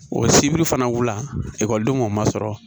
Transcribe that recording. O sibiri fana wula ekɔlidenw ma sɔrɔ